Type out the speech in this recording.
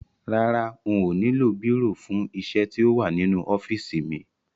Rárá, n ò nílò bírò fún isẹ́ tí ó wà nínú ọ́fìsì mi